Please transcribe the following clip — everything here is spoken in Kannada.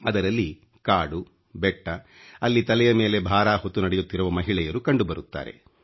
ಅದರಲ್ಲಿ ಕಾಡು ಬೆಟ್ಟ ಅಲ್ಲಿ ತಲೆಯ ಮೇಲೆ ಭಾರ ಹೊತ್ತು ನಡೆಯುತ್ತಿರುವ ಮಹಿಳೆಯರು ಕಂಡು ಬರುತ್ತಾರೆ